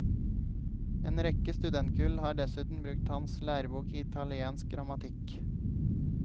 En rekke studentkull har dessuten brukt hans lærebok i italiensk grammatikk.